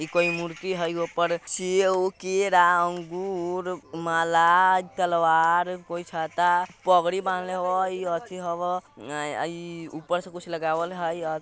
इको इ मूर्ति हई ओपर सेओब केरा अंगूर माला तलवार कोई छाता पगड़ी बांधले हई अथी हवा ऊपर से कुछ लगावल हई।